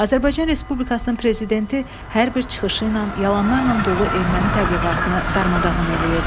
Azərbaycan Respublikasının Prezidenti hər bir çıxışı ilə yalanlarla dolu erməni təbliğatını darmadağın eləyirdi.